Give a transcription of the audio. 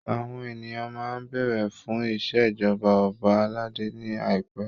Àwọn ènìyàn máa béèrè fun ìṣèjọba ọba aládé ní àìpẹ.